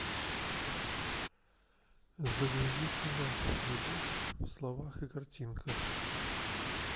загрузи кино любовь в словах и картинках